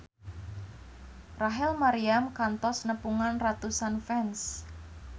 Rachel Maryam kantos nepungan ratusan fans